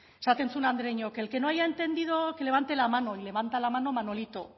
esaten zuen andereñoak el que no haya entendido que levante la mano y levanta la mano manolito